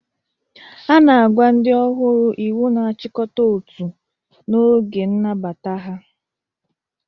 Ana agwa ndi ọhuru iwu na ajikọta ọtu n'oge nnabata ha.